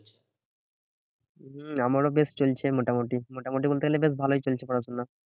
হম আমারও বেশ চলছে মোটামুটি। মোটামুটি বলতে গেলে বেশ ভালোই চলছে পড়াশোনা।